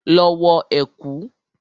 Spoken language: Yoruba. Lọ wọ ẹ̀kú!